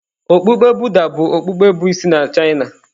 Okpukpe Buddha bụ okpukpe bụ isi na China.